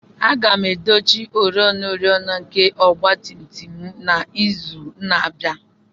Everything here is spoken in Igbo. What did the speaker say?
Aga m edochi oriọna oriọna nke ọgba tum tum n'izu na-abịa.